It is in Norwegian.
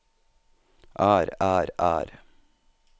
er er er